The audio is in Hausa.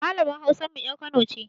Malamar Hausar mu ƴar Kano ce.